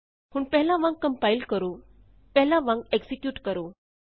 ਹੁਣ ਪਹਿਲਾਂ ਵਾਂਗ ਕੰਪਾਇਲ ਕਰੋ ਪਹਿਲਾਂ ਵਾਂਗ ਐਕਜ਼ੀਕਿਯੂਟ ਕਰੋ